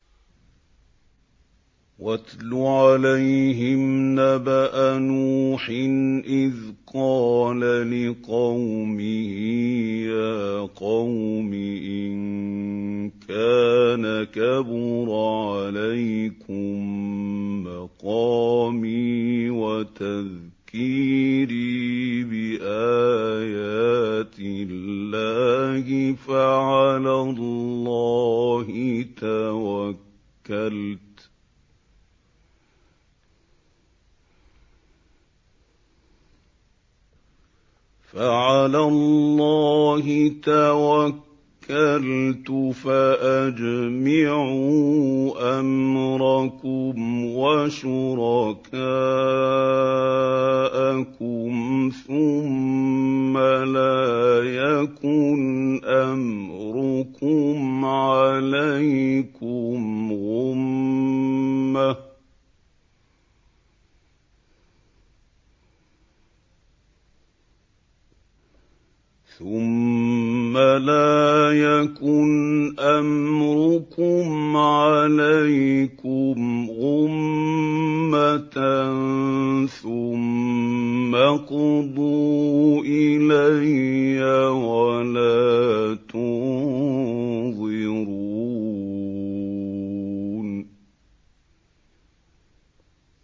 ۞ وَاتْلُ عَلَيْهِمْ نَبَأَ نُوحٍ إِذْ قَالَ لِقَوْمِهِ يَا قَوْمِ إِن كَانَ كَبُرَ عَلَيْكُم مَّقَامِي وَتَذْكِيرِي بِآيَاتِ اللَّهِ فَعَلَى اللَّهِ تَوَكَّلْتُ فَأَجْمِعُوا أَمْرَكُمْ وَشُرَكَاءَكُمْ ثُمَّ لَا يَكُنْ أَمْرُكُمْ عَلَيْكُمْ غُمَّةً ثُمَّ اقْضُوا إِلَيَّ وَلَا تُنظِرُونِ